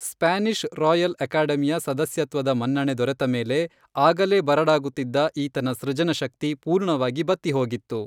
Spanish royal ಅಕಾಡೆಮಿಯ ಸದಸ್ಯತ್ವದ ಮನ್ನಣೆ ದೊರೆತ ಮೇಲೆ ಆಗಲೇ ಬರಡಾಗುತ್ತಿದ್ದ ಈತನ ಸೃಜನ ಶಕ್ತಿ ಪೂರ್ಣವಾಗಿ ಬತ್ತಿಹೋಗಿತ್ತು.